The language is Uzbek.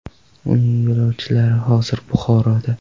Uning yo‘lovchilari hozir Buxoroda.